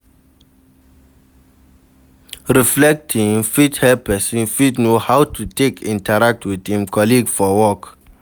Reflecting fit help person fit know how to take interact with im colleague for work